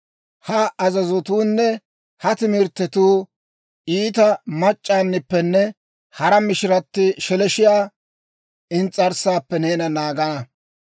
Ha azazotuunne ha timirttetuu iita mac'c'aanippenne hara mishiratti sheleeshshiyaa ins's'arssaappe neena naagana.